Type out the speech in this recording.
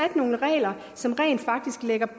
nogle regler som rent faktisk lægger